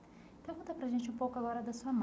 Pergunta para a gente um pouco agora da sua mãe.